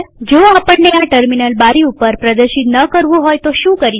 જો આપણને આ ટર્મિનલ બારી ઉપર પ્રદર્શિત ન કરવું હોય તો શું કરી શકાય